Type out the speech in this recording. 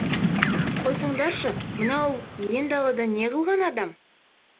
қойсаңдаршы мынау иен далада не қылған адам